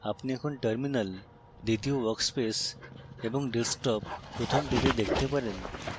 আপনি এখন terminal দ্বিতীয় workspace এবং desktop প্রথমটিতে দেখতে পারেন